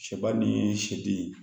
Sɛba ni sɛden